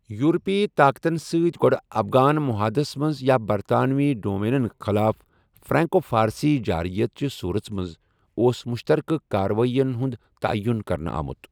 یورپی طاقتن ستۍ گۅڈٕ افغان معاہدس منٛز یا برطانوی ڈومینین خِلاف فرانکو فارسی جارحیت چہِ صوٗرژ منٛز اوس مُشترکہٕ کاروٲی ین ہُنٛد تعیُن کرنہٕ آمُت۔